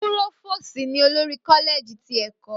Púrófóòòsì ni olórí Kọ́lẹ̀ẹ̀jì ti ẹ̀kọ́